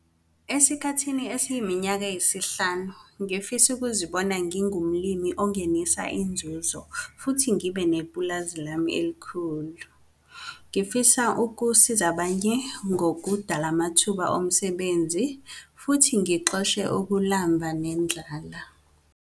Esikhathi esiyiminyaka eyisihlanu ngifisa ukuzibona ngingumlimi ongenisa inzuzo futhi ngibe nepulazi lami elikhulu. Ngifuna ukusiza abanye ngokudala amathuba omsebenzi futhi ngixoshe ukulamba nendlala.